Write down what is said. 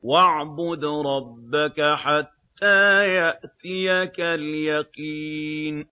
وَاعْبُدْ رَبَّكَ حَتَّىٰ يَأْتِيَكَ الْيَقِينُ